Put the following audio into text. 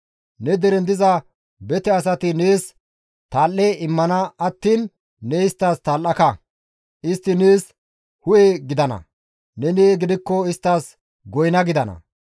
Ne deren diza bete asay nees tal7e immana attiin ne isttas tal7aka; istti nees hu7e gidana; neni gidikko isttas goyna gidana.